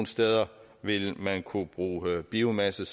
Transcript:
steder vil man kunne bruge biomasse